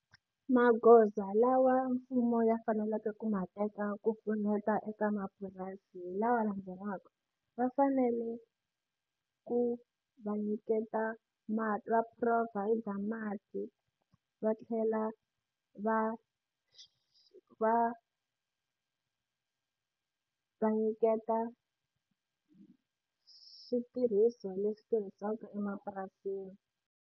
Magoza lawa mfumo ya faneleke ku ma teka ku pfuneta eka mapurasi hi lama landzelaka va fanele ku va nyiketa mati va provide mati va tlhela va va va nyiketa switirhiso leswi tirhisiwaka emapurasini.